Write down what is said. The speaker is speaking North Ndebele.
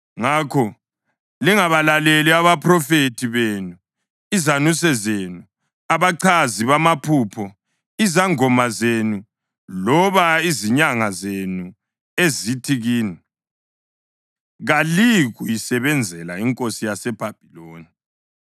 Ngakho lingabalaleli abaphrofethi benu, izanuse zenu, abachazi bamaphupho, izangoma zenu loba izinyanga zenu ezithi kini, kaliyikuyisebenzela inkosi yaseBhabhiloni.’